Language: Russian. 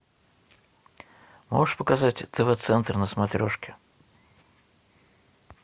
можешь показать тв центр на смотрешке